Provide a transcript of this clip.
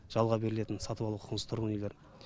жалға берілетін сатып алу құқығынсыз тұрғын үйлер